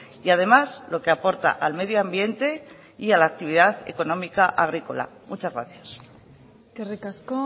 y además lo que aporta al medio ambiente y a la actividad económica agrícola muchas gracias eskerrik asko